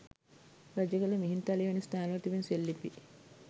රජගල, මිහින්තලේ වැනි ස්ථානවල තිබෙන සෙල්ලිපි